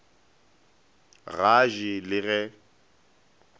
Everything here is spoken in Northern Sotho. ga a je le ge